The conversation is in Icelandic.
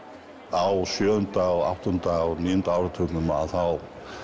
á sjöunda áttunda og níunda áratugnum að þá